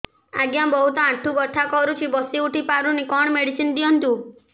ଆଜ୍ଞା ବହୁତ ଆଣ୍ଠୁ ବଥା କରୁଛି ବସି ଉଠି ପାରୁନି କଣ ମେଡ଼ିସିନ ଦିଅନ୍ତୁ